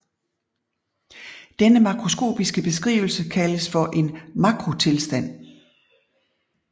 Denne makroskopiske beskrivelse kaldes for en makrotilstand